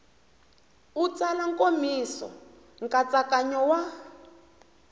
u tsala nkomiso nkatsakanyo wa